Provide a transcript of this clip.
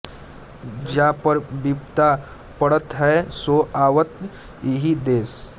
जा पर विपदा पड़त है सो आवत इहि देश